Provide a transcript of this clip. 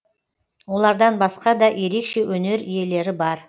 олардан басқа да ерекше өнер иелері бар